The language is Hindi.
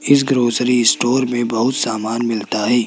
इस ग्रॉसरी स्टोर में बहुत सामान मिलता है।